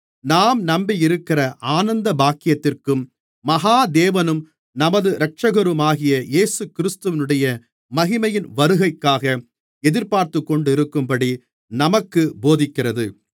நாம் நம்பியிருக்கிற ஆனந்தபாக்கியத்திற்கும் மகா தேவனும் நமது இரட்சகருமாகிய இயேசுகிறிஸ்துவினுடைய மகிமையின் வருகைக்காக எதிர்பார்த்துக்கொண்டிருக்கும்படி நமக்குப் போதிக்கிறது